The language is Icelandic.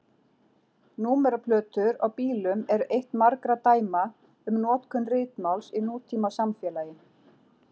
Númeraplötur á bílum eru eitt margra dæma um notkun ritmáls í nútímasamfélagi.